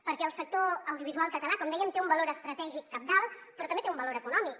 perquè el sector audiovisual català com dèiem té un valor estra·tègic cabdal però també té un valor econòmic